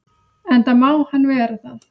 Enda má hann vera það.